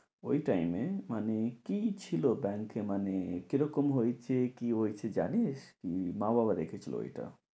ঐ time এ মানে কি ছিল bank এ মানে কী রকম হয়েছে কী হয়েছে জানিস? উম মা-বাবা রেখেছিল ঐটা।